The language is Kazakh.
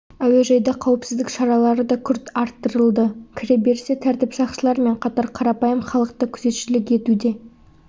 әуежайда қауіпсіздік шаралары да күрт арттырылды кіреберісте тәртіп сақшылар мен қатар қарапайым халық та күзетшілік етуде